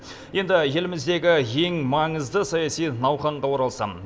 енді еліміздегі ең маңызды саяси науқанға оралсам